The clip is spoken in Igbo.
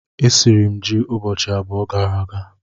Esiri m ji ụbọchị abụọ gara aga